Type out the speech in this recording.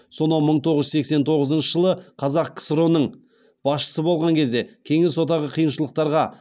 сонау мың тоғыз жүз сексен тоғызыншы жылы қазақ ксро ның басшысы болған кезде кеңес одағы қиыншылықтарға